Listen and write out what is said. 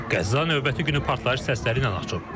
Qəzza növbəti günü partlayış səsləri ilə açılır.